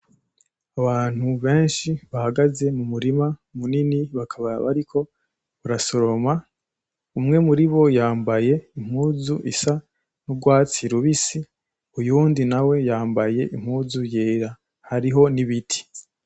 Abantu benshi bahagaze mumurima munini bakaba bariko barasoroma, umwe muribo yambaye impuzu isa n'ugwatsi rubisi, uyundi nawe yambaye impuzu yera, Hariho n'ibiti.